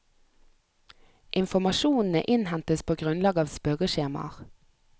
Informasjonene innhentes på grunnlag av spørreskjemaer.